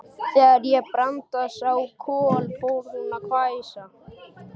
Þegar Branda sá Kol fór hún að hvæsa.